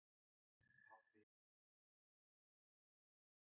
Pabbi var aftur farinn að einbeita sér að sjónvarpinu.